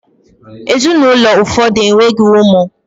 Ezinụlọ ụfọdụ enweghị ụmụ